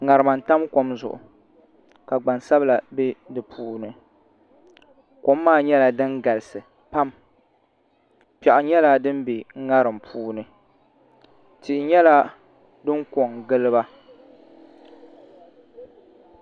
ŋarima n tam kom zuɣu ka gbansabila bɛ di puuni kom maa nyɛla din galisi pam piɛɣu nyɛla din bɛ ŋarim puuni tihi nyɛla din ko n giliba